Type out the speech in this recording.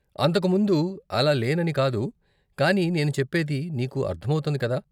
అంతకు ముందు అలా లేనని కాదు, కానీ నేను చెప్పేది నీకు అర్ధం అవుతోంది కదా.